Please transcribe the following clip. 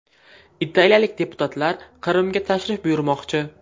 Italiyalik deputatlar Qrimga tashrif buyurmoqchi.